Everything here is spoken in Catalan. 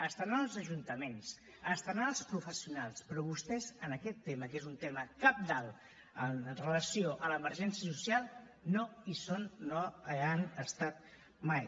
hi haurà els ajuntaments hi haurà els professionals però vostès en aquest tema que és un tema cabdal amb relació a l’emergència social no hi són no hi han estat mai